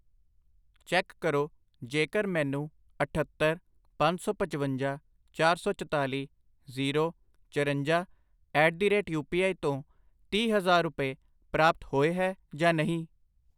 Check ਕਰੋ ਜੇਕਰ ਮੈਨੂੰ ਅਠੱਤਰ, ਪੰਜ ਸੌ ਪਚਵੰਜਾ, ਚਾਰ ਸੌ ਚਤਾਲੀ, ਜ਼ੀਰੋ, ਚਰੰਜਾ at the rate U P I ਤੋਂ ਤੀਹ ਹਜ਼ਾਰ ਰੁਪਏ ਪ੍ਰਾਪਤ ਹੋਏ ਹੈ ਜਾਂ ਨਹੀਂ।